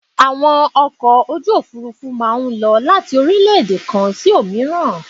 Àwọn ọkọ̀ ojú òfurufú má a ń lọ láti orílẹ́èdè kan sí òmíràn